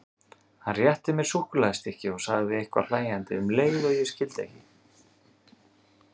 Hann rétti mér súkkulaðistykki og sagði eitthvað hlæjandi um leið sem ég skildi ekki.